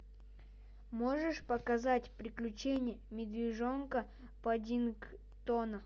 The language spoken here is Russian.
можешь показать приключения медвежонка паддингтона